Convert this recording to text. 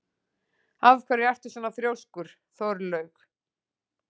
Af hverju ertu svona þrjóskur, Þórlaug?